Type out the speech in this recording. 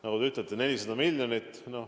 Nagu te ütlesite, 400 miljonit.